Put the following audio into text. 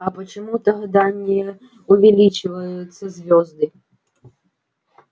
а почему тогда не увеличиваются звёзды